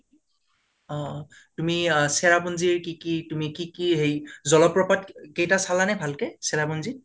অ তুমি চেৰাপুঞ্জি ৰ কি কি তুমি কি কি হেৰি জলপ্ৰপাত কেইটা চলা নে ভালকে চেৰাুঞ্জীত?